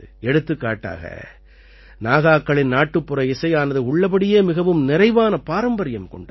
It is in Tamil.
எடுத்துக்காட்டாக நாகாக்களின் நாட்டுப்புற இசையானது உள்ளபடியே மிகவும் நிறைவான பாரம்பரியம் கொண்டது